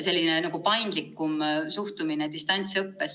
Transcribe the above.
See on paindlikum suhtumine distantsõppesse.